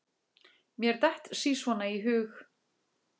Mér datt sí svona í hug.